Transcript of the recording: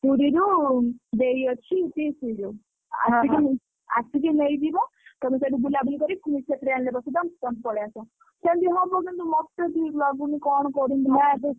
ପୁରୀରୁ ଦେଇ ଅଛି ପିଇସି ଯେ ଆସିକି ନେଇଯିବ। ତମେ ସେଠି ବୁଲାବୁଲି କରି ପୁଣି ସେ train ରେ ବସେଇଦବ ତମେ ପଳେଇଆସ। ସେମତି ହବ କିନ୍ତୁ ମତେ ଠିକ୍ ଲାଗୁନି କଣ କରିବି?